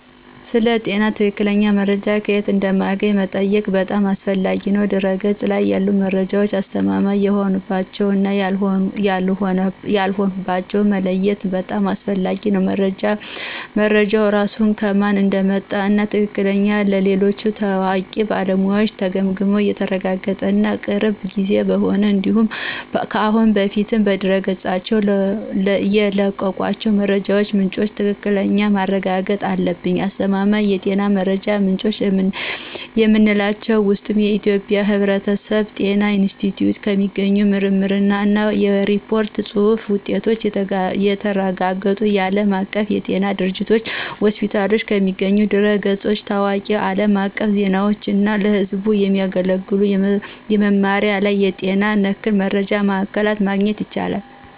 ስለ ጤና ትክክለኛ መረጃ ከየት እንደምናገኝ መጠየቅህ በጣም አስፈላጊ ነው። በድህረ-ገጽ ላይ ያሉ መረጃዎች አስተማማኝ የሆኑባቸውን እና ያልሆኑባቸውን መለየትም በጣም አስፈላጊ ነው። መረጃው ራሱ ከማን እንደመጣ እና ትክክለኛነቱ በሌሎች ታዋቂ ባለሙያዎች ተገምግሞ የተረጋገጠ እና የቅርብ ጊዜ መሆኑን እንዲሁም ከአሁን በፊት በድረገጾቻቸው የለቀቋቸው የመረጃ ምንጮች ትክክለኛነት ማረጋገጥ አለብን። አስተማማኝ የጤና መረጃ ምንጮች ከምንላቸው ውስጥ የኢትዮጵያ የሕብረተሰብ ጤና ኢንስቲትዩት ከሚገኙ የምርምር እና የሪፖርት ጽሁፍ ውጤቶች፣ የተረጋገጡ የዓለም አቀፍ የጤና ድርጅቶችና ሆስፒታሎች ከሚገኙ ድረ-ገጾች፣ ታዋቂ አለም አቀፍ ዜናዎች እና ለህዝብ የሚያገለግሉ የመስመር ላይ የጤና ነክ መረጃ ማዕከላት ማግኘት ይቻላል።